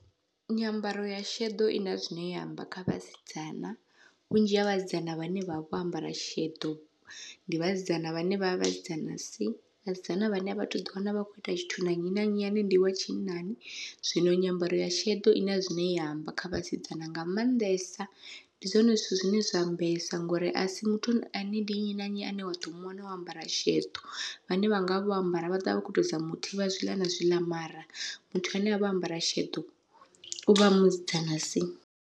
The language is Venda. Nyambaro ya sheḓo ina zwine ya amba kha vhasidzana, vhunzhi ha vhasidzana vhane vhavha vho ambara sheḓo ndi vhasidzana vhane vha vha vhasidzana si vhasidzana vhane avha thu ḓi wana vha khou ita tshithu na nnyi na nnyi ane ndi wa tshinnani. Zwino nyambaro ya sheḓo ina zwine ya amba kha vhasidzana nga maanḓesa, ndi zwone zwithu zwine zwa ambesa ngori asi muthu ane ndi nnyi na nnyi ane wa ḓo muwana o ambara sheḓo, vhane vhanga vho ambara vha ḓovha vha kho tou zama u thivha zwiḽa na zwiḽa mara muthu ane avha o ambara sheḓo uvha a musidzana si.